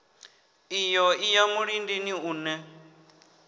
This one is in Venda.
iyo i ya mulindini une